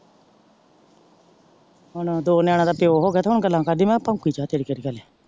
ਹੁਣ ਦੋ ਨਯਾਨੀ ਦਾ ਪਯੋ ਹੋ ਗਯਾ ਤੇ ਹੁਣ ਗੱਲਾਂ ਕਰਦੀ ਮੈਂ ਕਿਆ ਭੋਂਕੀ ਜਾ ਤੇਰੀ ਕੇਹਰਿ ਗੱਲ ਏ।